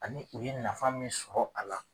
Ani u ye nafa min sɔrɔ a la.